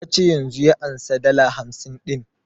Ya ce yanzun ya ansa dala hamsin ɗin